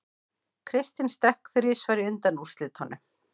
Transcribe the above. Kristinn stökk þrisvar í undanúrslitunum